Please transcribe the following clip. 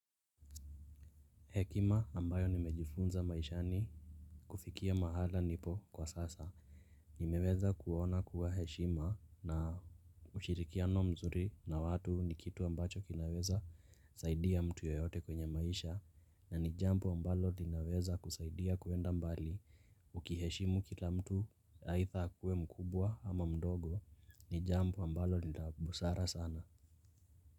Hekima ambayo nimejifunza maishani kufikia mahala nipo kwa sasa. Nimeweza kuona kuwa heshima na ushirikiano mzuri na watu ni kitu ambacho kinaweza saidia mtu yoyote kwenye maisha. Na ni jambo ambalo linaweza kusaidia kuenda mbali. Ukiheshimu kila mtu aidha akuwe mkubwa ama mdogo ni jambo ambalo ni la busara sana.